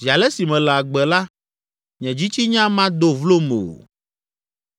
Zi ale si mele agbe la, nye dzitsinya mado vlom o.